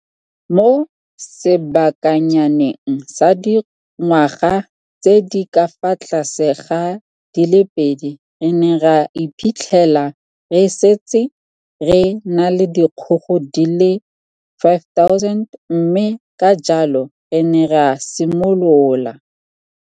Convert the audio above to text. Mo sebakanyaneng sa dingwaga tse di ka fa tlase ga di le pedi re ne ra iphitlhela re setse re na le dikgogo di le 5 000 mme ka jalo re ne ra simolola